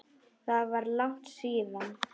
Það var langt síðan.